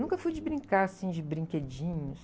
Nunca fui brincar assim, de brinquedinhos.